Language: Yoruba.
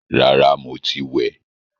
Rárá, mo ti wẹ̀